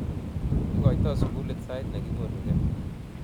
ikoito sukulit sait nekikonukei